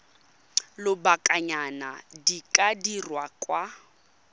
lobakanyana di ka dirwa kwa